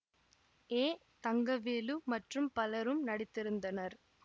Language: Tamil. ஏ தங்கவேலு மற்றும் பலரும் நடித்திருந்தனர்